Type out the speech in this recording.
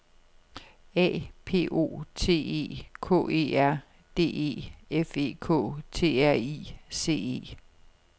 A P O T E K E R D E F E K T R I C E